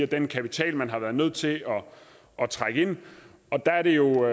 den kapital man har været nødt til at trække ind der er det jo